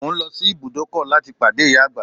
Mo ń lọ sí ibùdókọ̀ láti pàdé ìyá àgbà